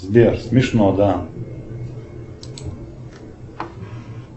сбер смешно да